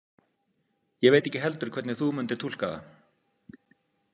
Ég veit ekki heldur hvernig þú myndir túlka það.